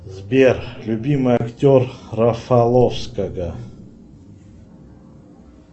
сбер любимый актер рафаловского